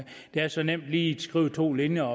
det er så nemt lige at skrive to linjer